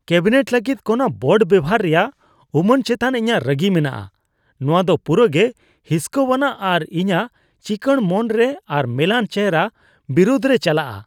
Cabinet ᱞᱟᱹᱜᱤᱫ ᱠᱚᱱᱟ board ᱵᱮᱣᱦᱟᱨ ᱨᱮᱭᱟᱜ ᱩᱢᱟᱹᱱ ᱪᱮᱛᱟᱱ ᱤᱧᱟᱹᱜ ᱨᱟᱹᱜᱤ ᱢᱮᱱᱟᱜᱼᱟ ᱾ ᱱᱚᱶᱟ ᱫᱚ ᱯᱩᱨᱟᱹᱜᱮ ᱦᱤᱸᱥᱠᱟᱣᱟᱱᱟᱜ ᱟᱨ ᱤᱧᱟᱹᱜ ᱪᱤᱸᱠᱟᱹᱲ ᱢᱚᱱᱨᱮ ᱟᱨ ᱢᱮᱞᱟᱱ ᱪᱮᱦᱚᱨᱟ ᱵᱤᱨᱩᱫᱨᱮ ᱪᱟᱞᱟᱜᱼᱟ ᱾